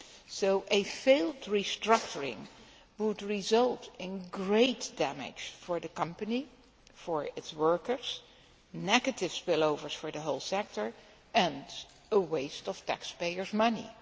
So a failed restructuring would result in great damage for the company and for its workers, in negative spillovers for the whole sector, and in a waste of taxpayer's money.